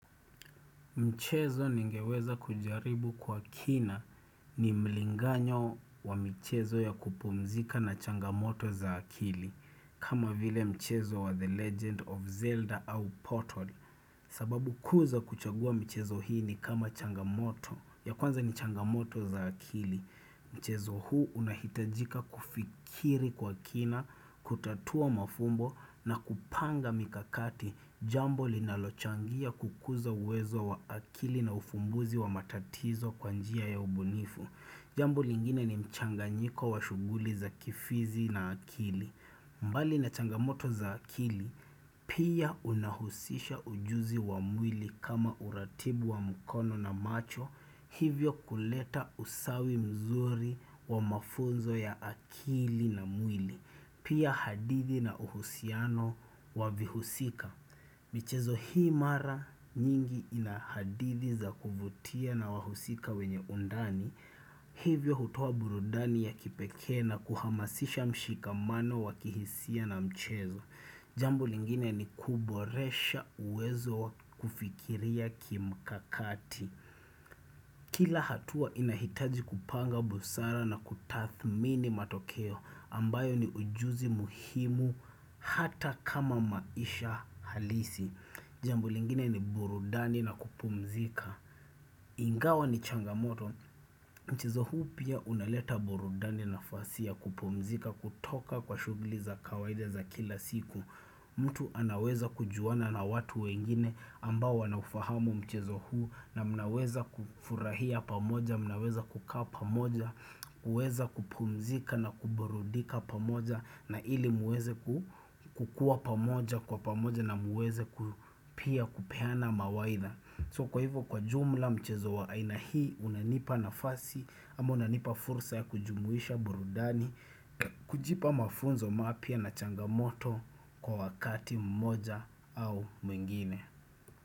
Mchezo ningeweza kujaribu kwa kina ni mlinganyo wa mchezo ya kupumzika na changamoto za akili kama vile mchezo wa The Legend of Zelda au Portal sababu kuu za kuchagua mchezo hii ni kama changamoto ya kwanza ni changamoto za akili. Mchezo huu unahitajika kufikiri kwa kina, kutatua mafumbo na kupanga mikakati jambo linalochangia kukuza uwezo wa akili na ufumbuzi wa matatizo kwa njia ya ubunifu. Jambo lingine ni mchanganyiko wa shuguli za kifizi na akili. Mbali na changamoto za akili, pia unahusisha ujuzi wa mwili kama uratibu wa mkono na macho, hivyo kuleta usawi mzuri wa mafunzo ya akili na mwili, pia hadithi na uhusiano wa vihusika. Michezo hii mara nyingi inahadithi za kuvutia na wahusika wenye undani, hivyo hutoa burudani ya kipeke na kuhamasisha mshikamano wakihisia na mchezo. Jambo lingine ni kuboresha uwezo kufikiria kimkakati. Kila hatua inahitaji kupanga busara na kutathmini matokeo ambayo ni ujuzi muhimu hata kama maisha halisi. Jambo lingine ni burudani na kupumzika Ingawa ni changamoto Mchezo huu pia unaleta burudani nafasi ya kupumzika kutoka kwa shughuli za kawaida za kila siku mtu anaweza kujuana na watu wengine ambao wanaufahamu mchezo huu na mnaweza kufurahia pamoja mnaweza kukaa pamoja kuweza kupumzika na kuburudika pamoja na ili muweze kukua pamoja kwa pamoja na muweze ku pia kupeana mawaidha so kwa hivyo kwa jumla mchezo wa aina hii unanipa nafasi ama unanipa fursa ya kujumuisha burudani kujipa mafunzo mapya na changamoto kwa wakati mmoja au mwingine.